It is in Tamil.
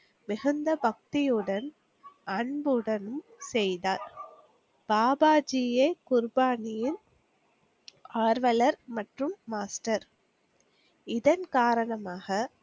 மிகுந்த பக்தியுடன் அன்புடனும் செய்தார். பாபாஜியே குருபானியில் ஆர்வலர் மற்றும் Master. இதன் காரணமாக